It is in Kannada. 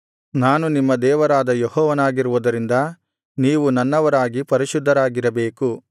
ನಾನು ನಿಮ್ಮ ದೇವರಾದ ಯೆಹೋವನಾಗಿರುವುದರಿಂದ ನೀವು ನನ್ನವರಾಗಿ ಪರಿಶುದ್ಧರಾಗಿರಬೇಕು